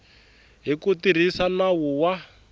hi ku tirhisa nawu wa